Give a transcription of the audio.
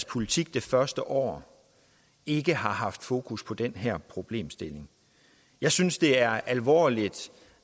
politik det første år ikke har haft fokus på den her problemstilling jeg synes det er alvorligt